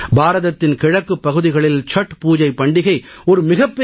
பாரதத்தின் கிழக்குப் பகுதிகளில் சத்பூஜை பண்டிகை ஒரு மிகப் பெரிய பண்டிகை